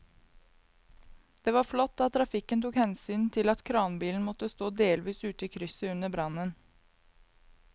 Det var flott at trafikken tok hensyn til at kranbilen måtte stå delvis ute i krysset under brannen.